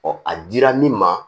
a dira min ma